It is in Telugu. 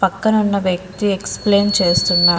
పక్కనున్న వ్యక్తి ఎక్సప్లయిన్ చేస్తున్న --